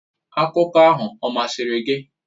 Akụkọ ahụ ọ masịrị gị?.